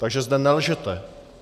Takže zde nelžete.